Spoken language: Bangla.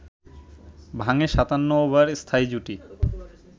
ভাঙে ৫৭ ওভার স্থায়ী জুটি